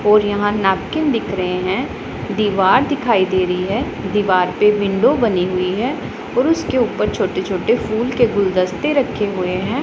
और यहां नैपकिन दिख रहे हैं दीवार दिखाई दे रही है दीवार पे विंडो बनी हुई है और उसके ऊपर छोटे छोटे फूल के गुलदस्ते रखे हुए हैं।